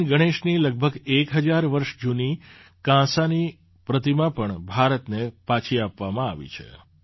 ભગવાન ગણેશની લગભગ એક હજાર વર્ષ જૂની કાંસાની પ્રતિમા પણ ભારતને પાછી આપવામાં આવી છે